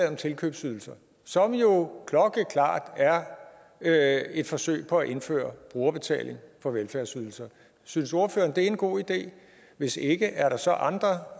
om tilkøbsydelser som jo klokkeklart er et et forsøg på at indføre brugerbetaling på velfærdsydelser synes ordføreren at det er en god idé hvis ikke er der så andre